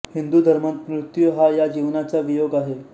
हिंदू धर्मात मृत्यू हा या जीवनाचा वियोग आहे